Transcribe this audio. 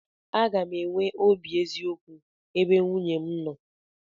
Aga m enwe obi eziokwu ebe nwunye m nọ.